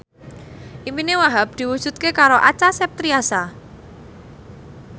impine Wahhab diwujudke karo Acha Septriasa